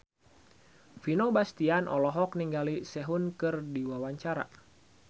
Vino Bastian olohok ningali Sehun keur diwawancara